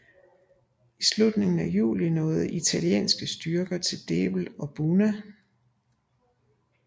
I slutningen af juli nåede italienske styrker til Debel og Buna